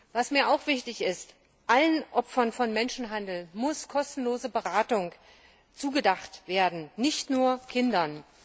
Was mir auch wichtig ist Allen Opfern von Menschenhandel muss kostenlose Beratung zur Verfügung gestellt werden, nicht nur Kindern.